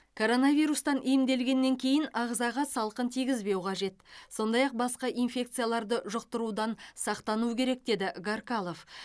коронавирустан емделгеннен кейін ағзаға салқын тигізбеу қажет сондай ақ басқа инфекцияларды жұқтырудан сақтану керек деді гаркалов